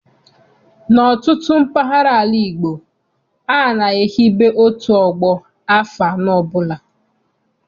N'ọtụtụ mpaghara ala Igbo, a na-ehibe otu ọgbọ afọ anọ ọbụla.